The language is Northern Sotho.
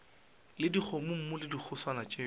le dikgomommuu le dihuswane tšeo